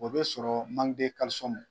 O be sɔrɔ